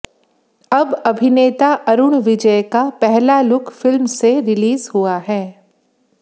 अब अभिनेता अरुण विजय हैं का पहला लुक फ़िल्म से रिलीज हुआ है